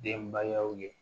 Denbayaw ye